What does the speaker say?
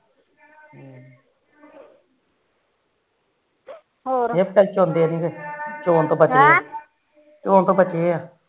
ਹਮ ਚੋਣ ਤੋ ਬਚੇ ਏ